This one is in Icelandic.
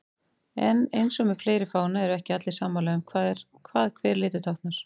En eins og með fleiri fána eru ekki allir sammála um hvað hver litur táknar.